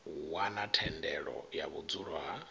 wana thendelo ya vhudzulo ha